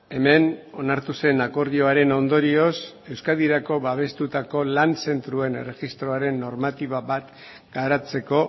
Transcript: hemen onartu zen akordioaren ondorioz euskadirako babestutako lan zentroen erregistroaren normatiba bat garatzeko